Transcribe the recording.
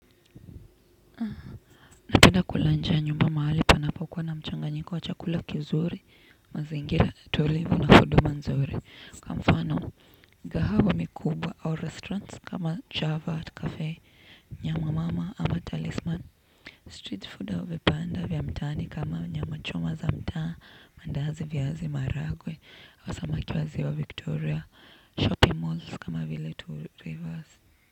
Napenda kula nje ya nyumba mahali panapokuwa na mchanganyiko wa chakula kizuri. Mazingira tulivu na huduma nzuri, kwamfano gahawa mikubwa au 'restaurants' kama Java at cafe, Nyama mama ama Talisman Street food au vipande vya mtaani kama nyama choma za mtaa, maandazi, viazi maharagwe au samaki wa ziwa Victoria 'shopping malls' kama vile tu Rivers.